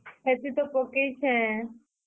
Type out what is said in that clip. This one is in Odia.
ହେତି ତ ପକେଇଛେଁ।